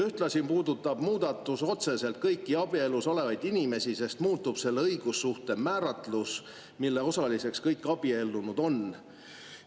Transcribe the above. Ühtlasi puudutab muudatus otseselt kõiki abielus olevaid inimesi, sest muutub selle õigussuhte määratlus, mille osaliseks kõik abiellunud on.